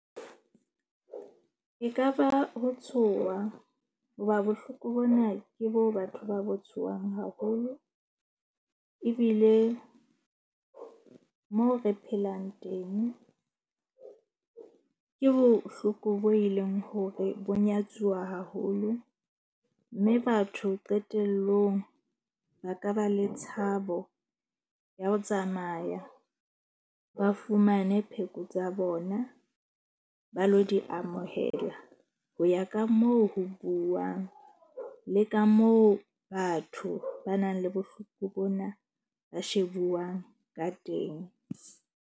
E ka ba ho tshoha hoba bohloko bona ke bo batho ba bo tshohang haholo. Ebile mo re phelang teng ke bohloko boo e leng hore bo nyatsuwa haholo. Mme batho qetellong ba ka ba le tshabo ya ho tsamaya, ba fumane pheko tsa bona ba lo di amohela. Ho ya ka moo ho buuwang le ka moo batho ba nang le bohloko bona ba shebuwang ka teng.